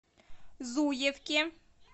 зуевке